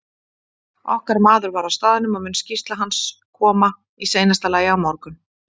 Okkar maður var á staðnum og mun skýrsla hans koma í seinasta lagi á morgun.